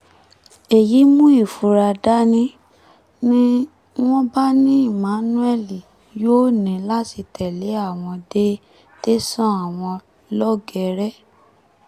èyí mú ìfura dání ni ni wọ́n bá ní emmanuel yóò ní láti tẹ̀lé àwọn dé tẹ̀sán àwọn lọ́gẹ́rẹ́